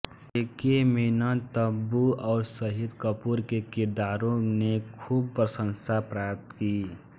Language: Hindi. के के मेनन तब्बू और शाहिद कपूर के किरदारों ने खूब प्रशंसाएं प्राप्त की